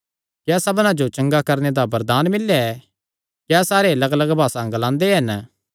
क्या सबना जो चंगा करणे दा वरदान मिल्लेया ऐ क्या सारे लग्गलग्ग भासा ग्लांदे हन